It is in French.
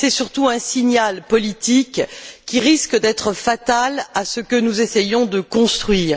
C'est surtout un signal politique qui risque d'être fatal à ce que nous essayons de construire.